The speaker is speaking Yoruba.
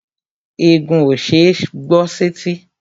Ègún ó ṣeé gbọ́ sẹ́tí